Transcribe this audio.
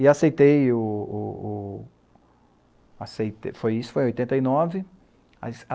E aceitei o o o... Aceitei e isso, foi em oitenta e nove.